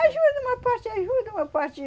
Ajuda, uma parte ajuda, uma parte.